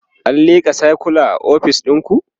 an lika sircula a ofis ɗinku?